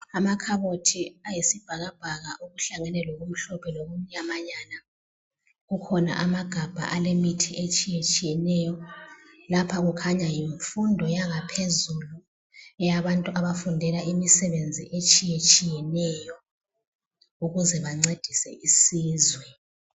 Amakhabothi ayisibhakabhaka okuhlangene lokumhlophe lokumnyamanyana kukhona amagabha alemithi etshiyetshiyeneyo lapha kukhanya yimfundo yangaphezulu eyabantu abafundela imisebenzi etshiyetshiyeneyo ukuze bancedise isizwe.